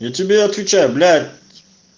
я тебе отвечаю блять